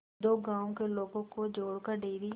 दो गांवों के लोगों को जोड़कर डेयरी